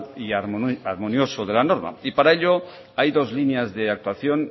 y armonioso de la normal para ello hay dos líneas de actuación